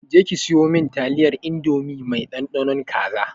Je ki siyo min taliyar indomie mai ɗanɗanon kaza!